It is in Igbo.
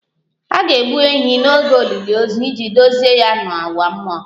A ga-egbu ehi n'oge olili ozu iji duzie ya n'ụwa mmụọ